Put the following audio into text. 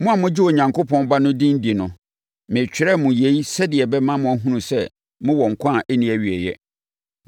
Mo a mogye Onyankopɔn Ba no din di no, meretwerɛ mo yei sɛdeɛ ɛbɛma moahunu sɛ mowɔ nkwa a ɛnni awieeɛ.